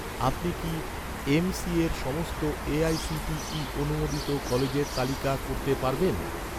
আপনি কি এমসিএর সমস্ত এ.আই.সি.টি.ই অনুমোদিত কলেজের তালিকা করতে পারবেন?